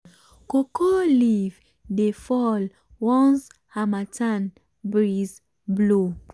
cocoa leaf dey fall once harmattan breeze blow.